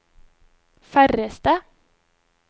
færreste